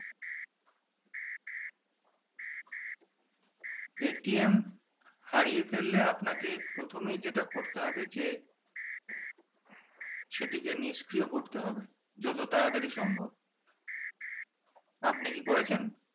হারিয়ে ফেললে আপনাকে প্রথমেই যেটা করতে হবে যে সেটিকে নিষ্ক্রিয় করতে হবে যত তারা তারি সম্ভব আপনি কি করেছেন